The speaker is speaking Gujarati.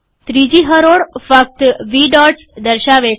ત્રીજી હરોળ ફક્ત વી ડોટ્સ દર્શાવે છે